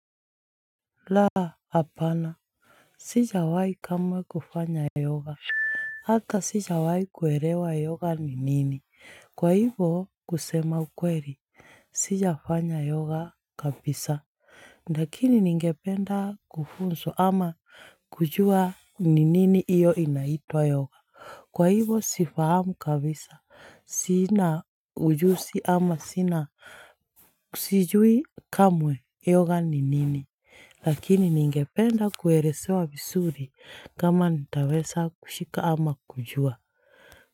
La hapana Sijawai kamwe kufanya yoga Hata sijawahi kuelewa yoga ni nini Kwa hivo kusema ukweli Sijafanya yoga kabisa Lakini ningependa kufunzwa ama kujua ni nini iyo inaitwa yoga Kwa ivo sifahamu kabisa Sina ujuzi ama sina Sijui kamwe yoga ni nini Lakini ningependa kuelesewa vizuri kama nitaweza kushika ama kujua.